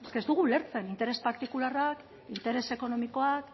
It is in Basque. eske ez dugu ulertzen interes partikularrak interes ekonomikoak